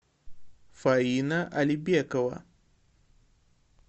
фаина алибекова